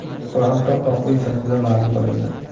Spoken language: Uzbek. Bu haqda Oq uy saytida ma’lum qilindi .